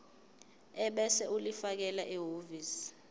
ebese ulifakela ehhovisi